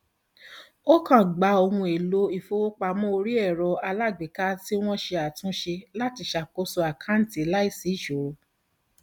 ó kàn gba ohun èlò ìfowópamọ orí ẹrọ alágbèéká tí wọn ṣe àtúnṣe láti ṣakoso àkáǹtì láìsí ìṣòro